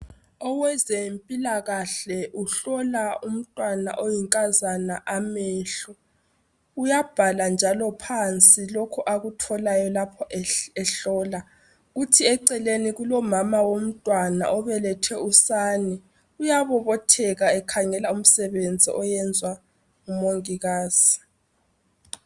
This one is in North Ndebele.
Owezempilakahle uhlola umntwana oyinkazana amehlo. Uyabhala njalo phansi lokhu akutholayo lapho ehlola. Kuthi eceleni kulomama womntwana obelethe usane uyabobotheka ekhangela umsebenzi oyenzwa ngumongikazi.